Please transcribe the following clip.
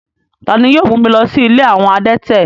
Tani yio mu mi lọ si ìlé awọn adẹ̀tẹ̀?